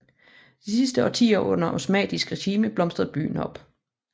De sidste årtier under osmannisk regime blomstrede byen op